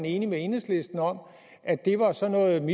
enig med enhedslisten om at det var sådan